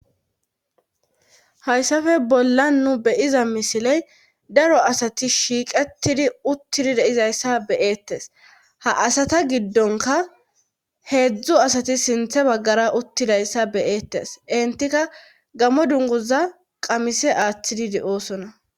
Hayssafe bolla nu beyiza misiley daro asati shiiqettidi uttidi deizayssa beyeettes ha asata giddonka heedzdzu asati sinthe baggara uttidayssa beyeettes intika gammo dunguza qamise aaththidide oosona.